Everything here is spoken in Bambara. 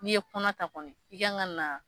N'i ye kɔnɔ ta kɔni i kan ka na